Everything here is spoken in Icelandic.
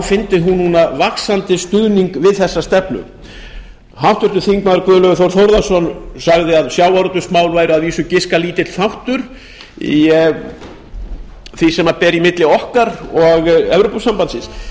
fyndi hún núna vaxandi stuðning við þessa stefnu háttvirtur þingmaður guðlaugur þór þórðarson sagði að sjávarútvegsmál væru að vísu giska lítill þáttur í því sem ber í milli okkar og evrópusambandsins ég hef